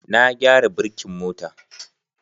Na gyara birkin mota